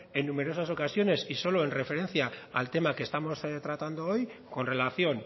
en numerosas ocasiones y solo en referencia al tema que estamos tratando hoy con relación